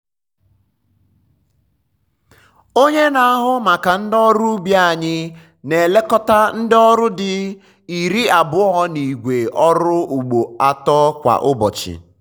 onye na-ahụ maka ndị ọrụ ubi anyị na-elekọta ndị ọrụ di iri abụọ na igwe ọrụ ugbo atọ kwa ụbọchị.